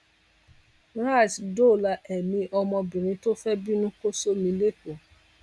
rras dóòlà èmi ọmọbìnrin tó fẹẹ bínú kò sómi lẹkọọ